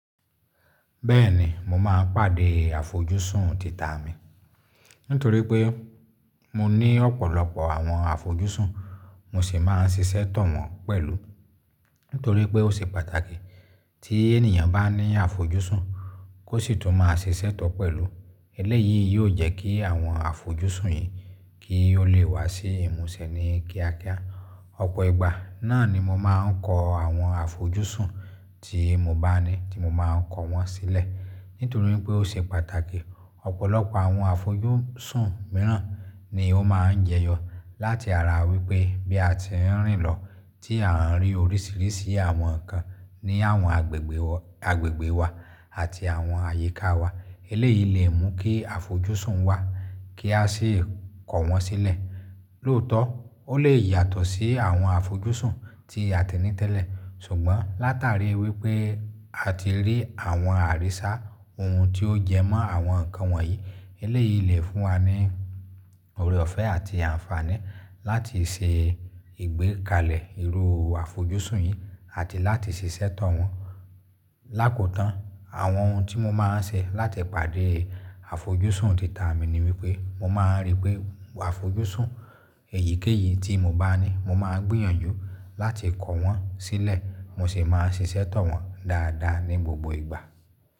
Bẹ́ẹ̀ni, mo máa ń pàdé àfojúsùn títà mi. Nítorí pé mo ní ọ̀pọ̀lọpọ̀ àwọn àfojúsùn, mo sì máa ń ṣiṣẹ́ tọ̀ wọ́n pẹ̀lú. Nítorí pé ó ṣe pàtàkì tí ènìyàn bá ní àfojúsùn kó sì tún máa ṣiṣẹ́ tọ́ pẹ̀lú. Eléyìí yóò jẹ́ kí àwọn àfojúsùn yìí kí ó lè wá sí ìmúṣẹ ní kíákíá. Ọ̀pọ̀ ìgbà náà ni mo máa ń kọ àwọn àfojúsùn tí mo bá ní tí mo máa ń kọ wọ́n sílẹ̀. Nítorí pé ó ṣe pàtàkì ọ̀pọ̀lọpọ̀ àwọn àfojúsùn mìíràn ni ó máa ń jẹyọ láti ara wípé bí a ti ń rìn lọ tí a ń rí oríṣiríṣi àwọn nǹkan ní àwọn agbègbè wa àti àwọn àyíká wa. Eléyìí lè mú kí àfojúsùn wà kí a sì kọ wọ́n sílẹ̀. Lóòótọ́, ó lè yàtọ̀ sí àwọn àfojúsùn tí a ti ní tẹ́lẹ̀. Ṣùgbọ́n látàrí wípé a ti rí àwọn àrísá ohun tí ó jẹ mọ́ àwọn nǹkan wọ̀nyí. Eléyìí lè fún wa ní ọ̀rẹ́ ọ̀fẹ́ àti àǹfààní láti ṣe ìgbékalẹ̀ irú àfojúsùn yìí àti láti ṣiṣẹ́ tọ́ wọ́n. Lákoòótan àwọn ohun tí mo máa ń ṣe láti pàdé àfojúsùn títà mi ni wípé mo máa ń rí pé àfojúsùn èyíkéyìí tí mo bá ní mo máa ń gbìyànjú láti kọ wọ́n sílẹ̀, mo sì máa ń ṣiṣẹ́ tọ̀ wọ́n dáadáa ní gbogbo ìgbà.